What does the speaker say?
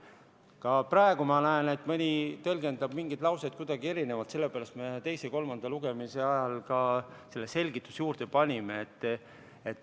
Ka praegu ma näen, et mõni tõlgendab mingit lauset kuidagi erinevalt, sellepärast me teise ja kolmanda lugemise ajal ka selle selgituse juurde panime.